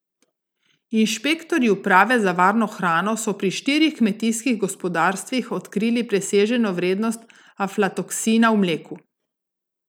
Inšpektorji uprave za varno hrano so pri štirih kmetijskih gospodarstvih odkrili preseženo vrednost aflatoksina v mleku.